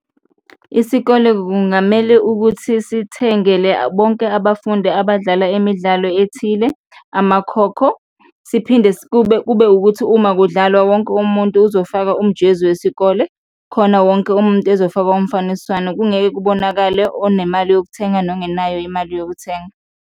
Isikole kungamele ukuthi sithengele bonke abafundi abadlala imidlalo ethile amakhokho siphinde kube, kube wukuthi uma kudlalwa, wonke umuntu uzofaka umjezi wesikole khona wonke umuntu ezofakwa umfaniswano, kungeke kubonakale onemali yokuthenga nongenayo imali yokuthenga.